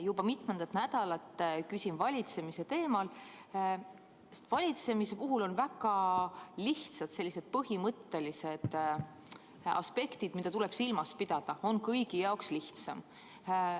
Juba mitmendat nädalat küsin valitsemise teemal, sest valitsemise puhul on väga lihtsad põhimõttelised aspektid, mida tuleb silmas pidada, siis on kõigi jaoks lihtsam.